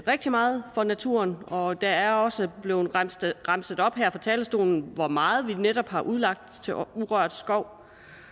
rigtig meget for naturen og der er også blevet remset remset op her fra talerstolen hvor meget vi netop har udlagt til urørt skov